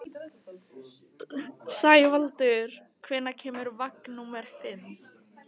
Sævaldur, hvenær kemur vagn númer fimm?